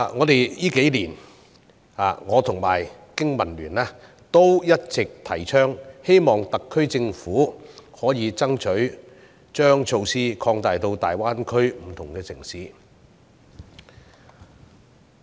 這數年，我和香港經濟民生聯盟一直倡議，希望特區政府可以爭取將措施擴大到大灣區不同城市。